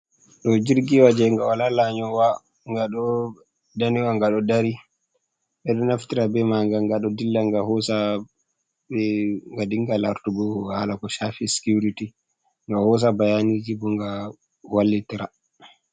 Ɗo jirgiwa je wala layowa nga do da nowa ga do dari bedo naftira be maga, ga ɗo dilla ga hosa be nga dinga lartugo hala ko shaffi sicurity nga hosa bayaniji bo nga wallitira.